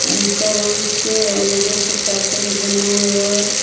ईटा रंग के आव उजर रंग के का तो है बनावल।